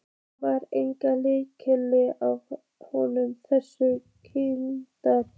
Það var engin lykt af öllu þessu kryddi.